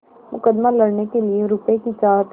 मुकदमा लड़ने के लिए रुपये की चाह थी